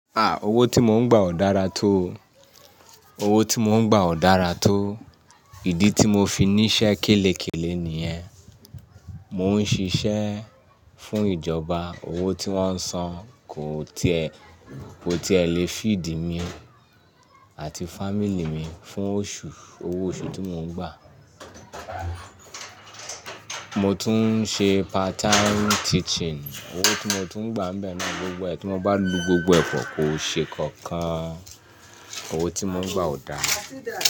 Ah! Owó tí mo ń gbà ò dára tó. Owó tí mo ń gbà ò dára tó. Ìdí tí mo fi ní iṣẹ́ kélekèlé nìyẹn. Mo ń ṣiṣẹ́ fún ìjọba, owó tí wọ́n ń san kò tíẹ, kò tí è lè fíìdì mi àti familì mi fún oṣù. Owó oṣù tí mo ń gbà. Mo tún ń ṣe part time teaching. Owó tí mo tún ń gbà ń bẹ́ náà gbogbo ẹ. Tí wọ́n bá lu gbogbo ẹ pọ̀, kò ṣe nkankan. Owó tí mo ń gbà ò da.